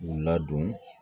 K'u ladon